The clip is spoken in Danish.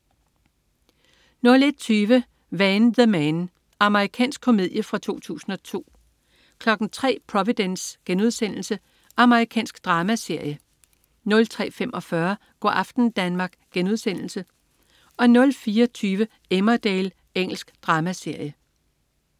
01.20 Van the Man. Amerikansk komedie fra 2002 03.00 Providence.* Amerikansk dramaserie 03.45 Go' aften Danmark* 04.20 Emmerdale. Engelsk dramaserie